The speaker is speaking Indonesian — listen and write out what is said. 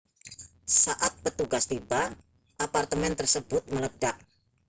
saat petugas tiba apartemen tersebut meledak